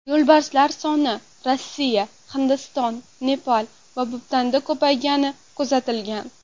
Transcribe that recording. Yo‘lbarslar soni Rossiya, Hindiston, Nepal va Butanda ko‘paygani kuzatilgan.